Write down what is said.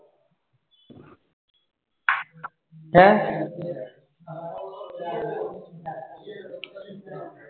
ਹੈ?